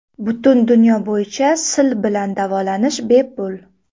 Butun dunyo bo‘yicha sil bilan davolanish bepul.